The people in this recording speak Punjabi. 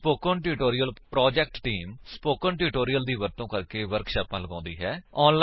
spoken tutorial project team spoken tutorials ਦੀ ਵਰਤੋ ਕਰਕੇ ਵਰਕਸ਼ਾਪਾਂ ਲਗਾਉਂਦੀ ਹੈ